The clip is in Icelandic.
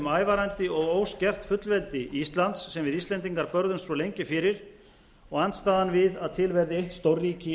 ævarandi og óskert fullveldi íslands sem við íslendingar börðumst svo lengi fyrir og andstaðan við að til verði eitt stórríki